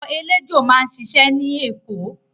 Ọkọ̀ eléjò máá ń ṣiṣẹ́ ní Èkó